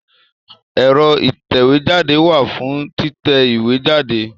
Ẹ̀rọ ìtẹ̀wéjáde wà fún títẹ ìwé jáde.